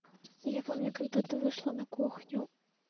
я помню когда ты вышла на кухню